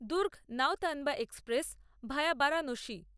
Durg Nautanwa express via Varanasi